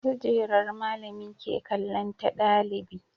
Kujerar malami ke kallon ta ɗalibi